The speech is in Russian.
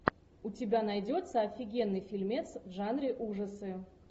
у тебя найдется офигенный фильмец в жанре ужасы